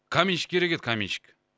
каменщик керек еді каменщик